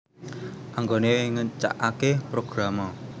Anggone ngecakake Programa